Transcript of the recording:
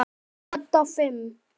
Dadda fimm.